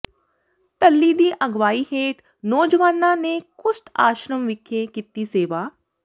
ਡੱਲੀ ਦੀ ਅਗਵਾਈ ਹੇਠ ਨੌਜਵਾਨਾਂ ਨੇ ਕੁਸ਼ਟ ਆਸ਼ਰਮ ਵਿਖੇ ਕੀਤੀ ਸੇਵਾ